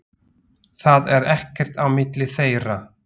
Það er ekkert á milli þeirra.